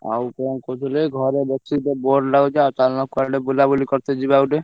ଆଉ କଣ କହୁଥିଲି ଭାଇ ଘରେ ବସିକିତ bore ଲାଗୁଛି ଆଉ ଚାଲୁନ କୁଆଡେ ବୁଲାବୁଲି କରିତେ ଯିବା ଗୋଟେ।